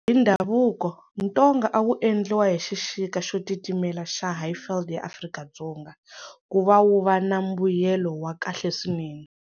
Hi ndhavuko, ntonga a wu endliwa hi xixika xo titimela xa highveld ya Afrika-Dzonga ku va wu va na mbuyelo wa kahle swinene.